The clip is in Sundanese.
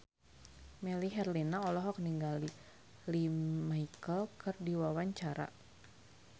Melly Herlina olohok ningali Lea Michele keur diwawancara